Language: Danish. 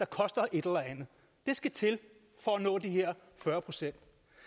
koster et eller andet det skal til for at nå de her fyrre procent